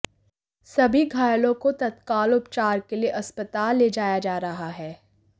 सभी घायलों को तत्काल उपचार के लिए अस्पताल ले जाया जा रहा है